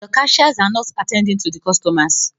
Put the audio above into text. The cashiers are not attending to the customers